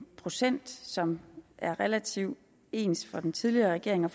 procent som er relativt ens for den tidligere regering og